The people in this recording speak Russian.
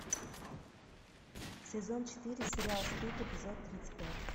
сезон четыре сериал стыд эпизод тридцать пять